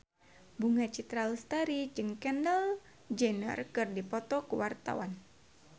Bunga Citra Lestari jeung Kendall Jenner keur dipoto ku wartawan